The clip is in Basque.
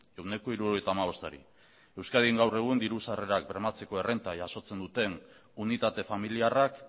ehuneko hirurogeita hamabostari euskadin gaur egun diru sarrerak bermatzeko errenta jasotzen duten unitate familiarrak